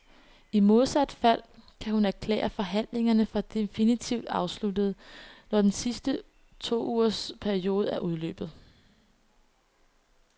I modsat fald kan hun erklære forhandlingerne for definitivt afsluttede, når den sidste tougers periode er udløbet.